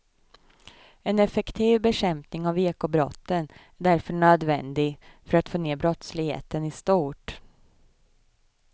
En effektiv bekämpning av ekobrotten är därför nödvändig för att få ned brottsligheten i stort.